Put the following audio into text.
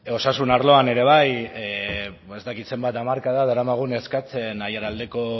osasun arloan ere bai ba ez dakit zenbat hamarkada daramagun eskatzen aiaraldeko